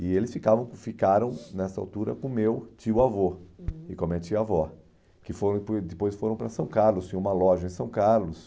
E eles ficavam ficaram, nessa altura, com o meu tio-avô, uhum, e com a minha tia-avó, que foram depo depois foram para São Carlos, tinha uma loja em São Carlos,